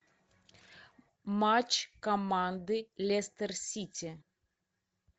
матч команды лестер сити